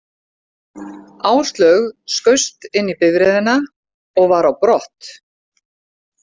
Áslaug skaust inn í bifreiðina og var á brott.